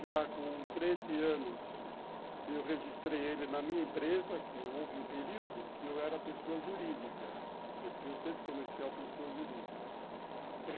Já com treze anos, eu registrei ele na minha empresa, que houve um período que eu era pessoa jurídica, representante comercial, pessoa jurídica.